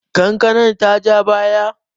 kankanar ta ja baya?